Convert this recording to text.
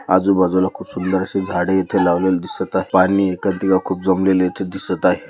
आजूबाजूला खूप सुंदर से झाडे येथे लावलेले दिसत आहे पाणी कधल खूप जमलेले येथे दिसत आहे.